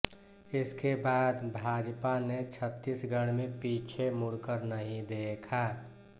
इसके बाद भाजपा ने छत्तीसगढ़ में पीछे मुड़कर नहीं देखा